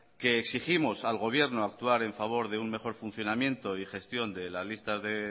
que exigimos al gobierno actuar en favor de un mejor funcionamiento y gestión de las listas de